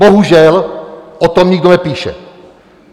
Bohužel o tom nikdo nepíše.